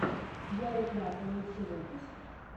ярик лапа лучший выпуск